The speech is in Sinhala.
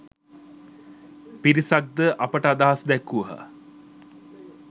පිරිසක් ද අපට අදහස් දැක්වූහ